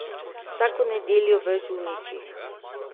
Vsako nedeljo v Žuničih!